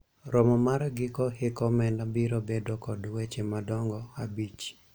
romo mar giko hik omenda biro bedo kod weche madongo abich